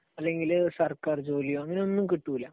അല്ലെങ്കിൽ സർക്കാർ ജോലിയോ അങ്ങനെ ഒന്നും കിട്ടൂല.